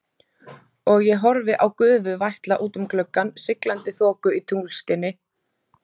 Og ég horfi á gufu vætla út um gluggann, siglandi þoku í tunglskini.